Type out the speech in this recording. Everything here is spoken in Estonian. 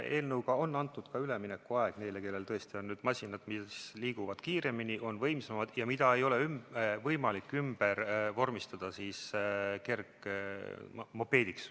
Eelnõuga on antud ka üleminekuaeg neile, kellel on masinad, mis liiguvad kiiremini, mis on võimsamad ja mida ei ole võimalik ümber vormistada kergmopeediks.